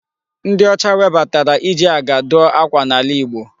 Ndị ọcha webatara iji aga dụọ ákwà n'ala Igbo.